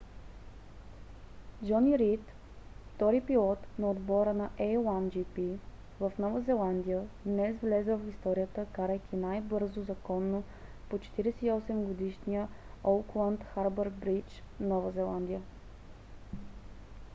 джони рийд втори пилот на отбора на a1gp в нова зеландия днес влезе в историята карайки най-бързо законно по 48 - годишния оукланд харбър бридж нова зеландия